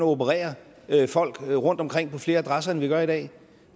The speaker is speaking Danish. operere folk rundtomkring på flere adresser end vi gør i dag